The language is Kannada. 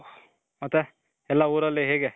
ಮತ್ತೆ ಎಲ್ಲ ಊರಲ್ಲಿ ಹೇಗೆ